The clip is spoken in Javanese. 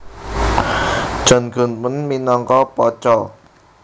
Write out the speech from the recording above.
John Goodman minangka Pacha